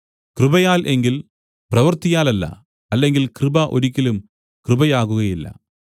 കൃപയാൽ എങ്കിൽ പ്രവൃത്തിയാലല്ല അല്ലെങ്കിൽ കൃപ ഒരിക്കലും കൃപയാകുകയില്ല